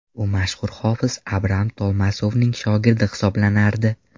U mashhur hofiz Abram Tolmasovning shogirdi hisoblanardi.